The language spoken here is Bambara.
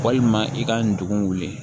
Walima i ka ndugun wuli